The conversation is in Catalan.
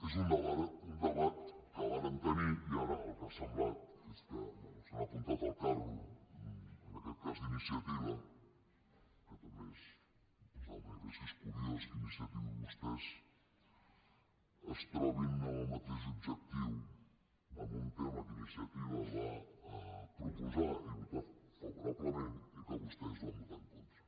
és un debat que vàrem tenir i ara el que ha semblat és que bé s’han apuntat al carro en aquest cas d’iniciativa que també és curiós que iniciativa i vostès es trobin amb el mateix objectiu en un tema que iniciativa va proposar i votar favorablement i que vostès hi van votar en contra